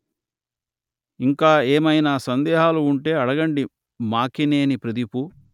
ఇంకా ఏమయినా సందేహాలు ఉంటే అడగండి మాకినేని ప్రదీపు